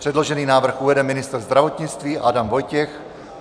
Předložený návrh uvede ministr zdravotnictví Adam Vojtěch.